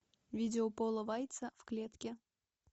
видео пола вайца в клетке